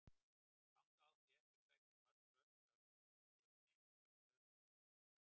Þangað átti ég eftir að sækja mörg hlöss af skelinni ásamt öðrum ökumanni.